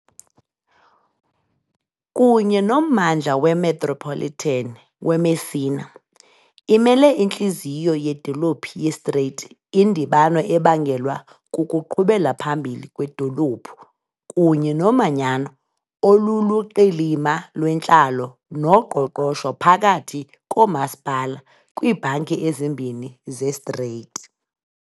Kunye nommandla wemetropolitan weMessina, imele intliziyo yedolophu yeStrait, indibano ebangelwa kukuqhubela phambili kwedolophu kunye nomanyano oluluqilima lwentlalo noqoqosho phakathi koomasipala kwiibhanki ezimbini zeStrait.